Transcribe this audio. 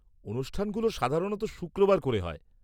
অনুষ্ঠানগুলো সাধারণত শুক্রবার করে হয়।